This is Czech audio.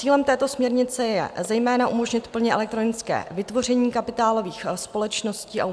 Cílem této směrnice je zejména umožnit plně elektronické vytvoření kapitálových společností a